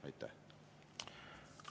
Aitäh!